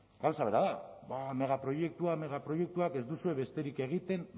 gauza bera megaproiektuak megaproiektuak ez duzue besterik egiten